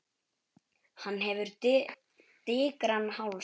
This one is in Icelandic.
Hann hefur digran háls.